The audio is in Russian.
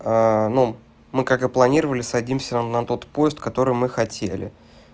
ну мы как и планировали садимся на тот поезд который мы хотели